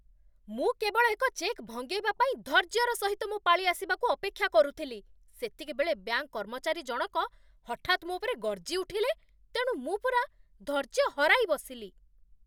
ମୁଁ କେବଳ ଏକ ଚେକ୍ ଭଙ୍ଗେଇବା ପାଇଁ ଧୈର୍ଯ୍ୟର ସହିତ ମୋ ପାଳି ଆସିବାକୁ ଅପେକ୍ଷା କରୁଥିଲି, ସେତିକିବେଳେ ବ୍ୟାଙ୍କ କର୍ମଚାରୀ ଜଣକ ହଠାତ୍ ମୋ ଉପରେ ଗର୍ଜି ଉଠିଲେ, ତେଣୁ ମୁଁ ପୂରା ଧୈର୍ଯ୍ୟ ହରାଇ ବସିଲି।